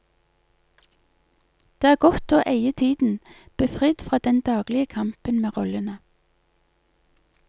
Det er godt å eie tiden, befridd fra den daglige kampen med rollene.